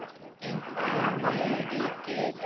En hvað með ríkið?